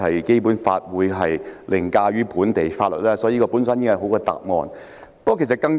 《基本法》當然凌駕於本地法例，因此司長的答覆已經很好。